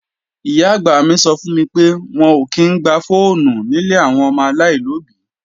Ìyá-àgbà mi sọ fún mi pé, wọn ò kí í ń gba fọ́ọ̀nù nílé àwọn ọmọ aláìlóbí.